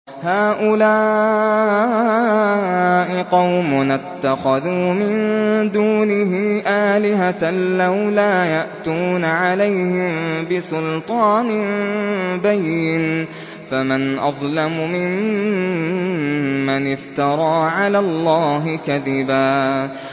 هَٰؤُلَاءِ قَوْمُنَا اتَّخَذُوا مِن دُونِهِ آلِهَةً ۖ لَّوْلَا يَأْتُونَ عَلَيْهِم بِسُلْطَانٍ بَيِّنٍ ۖ فَمَنْ أَظْلَمُ مِمَّنِ افْتَرَىٰ عَلَى اللَّهِ كَذِبًا